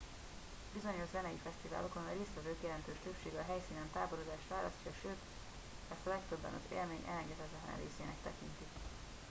bizonyos zenei fesztiválokon a résztvevők jelentős többsége a helyszínen táborozást választja sőt ezt a legtöbben az élmény elengedhetetlen részének tekintik